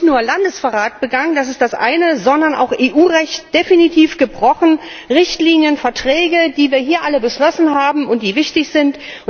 Damit wird nicht nur Landesverrat begangen das ist das eine sondern auch EU Recht definitiv gebrochen, Richtlinien, Verträge, die wir hier alle beschlossen haben und die wichtig sind.